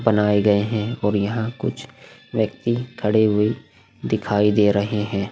बनाए गए हैं और यहां कुछ व्यक्ति खड़े हुए दिखाई दे रहे हैं।